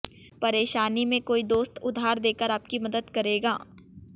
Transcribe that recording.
परेशानी में कोई दोस्त उधार देकर आपकी मदद करेगा